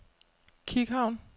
Kikhavn